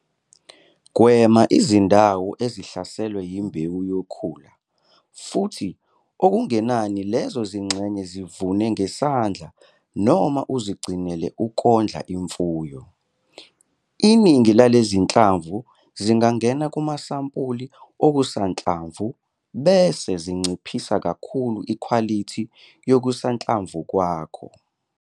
Gwema izindawo ezihlaselwe imbewu yokhula futhi okungenani lezo zingxenye zivune ngesandla noma uzigcinele ukondla imfuyo. Iningi lalezinhlamvu zingangena kumasampuli okusanhlamvu bese zinciphisa kakhulu ikhwalithi yokusanhlamvu kwakho.